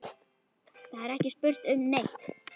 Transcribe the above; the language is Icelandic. Það er ekki spurt um neitt.